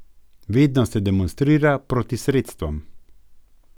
Vedno se demonstrira proti sredstvom.